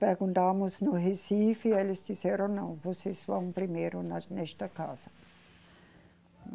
Perguntamos no Recife e eles disseram não, vocês vão primeiro na nesta casa.